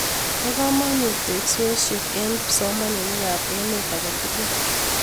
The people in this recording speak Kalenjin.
Po kamanut teksosiet eng kipsomaninik ab emet ake tugul